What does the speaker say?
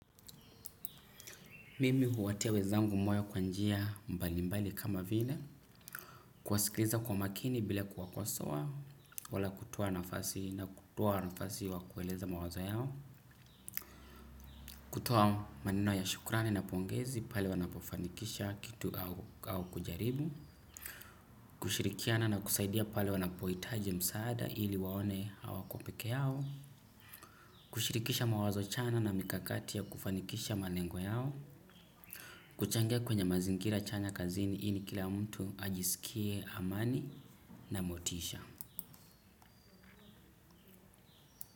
Mimi huwatia wenzangu moyo kwa njia mbali mbali kama vile kuwasikiliza kwa makini bila kuwakosoa. Wala kutoa nafasi na kutoa nafasi wa kueleza mawazo yao. Kutoa maneno ya shukurani na pongezi pale wanapofanikisha kitu au kujaribu. Kushirikiana na kusaidia pale wanapohitaji msaada ili waone hawako pekee yao. Kushirikisha mawazo chana na mikakati ya kufanikisha malengo yao. Kuchangia kwenye mazingira chanya kazini ili kila mtu ajisikie amani na motisha.